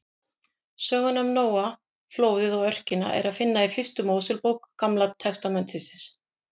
Söguna um Nóa, flóðið og örkina er að finna í fyrstu Mósebók Gamla testamentisins.